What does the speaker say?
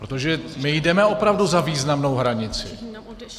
Protože my jdeme opravdu za významnou hranici.